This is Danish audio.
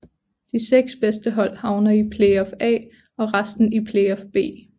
De 6 bedste hold havner i Playoff A og resten i Playoff B